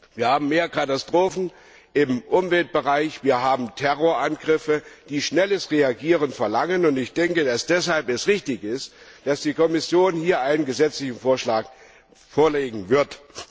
Wir haben mehr Katastrophen im Umweltbereich, wir haben Terrorangriffe, die schnelles Reagieren verlangen, und ich denke, dass es deshalb richtig ist, dass die Kommission hier einen Legislativvorschlag vorlegen wird.